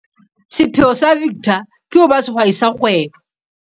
Sepheo sa Victor ke ho ba sehwai sa kgwebo.